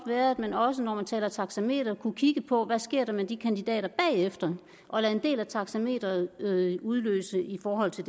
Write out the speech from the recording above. være at man også når man taler taxameter kunne kigge på hvad der sker med de kandidater bagefter og lade en del af taxameteret udløse i forhold til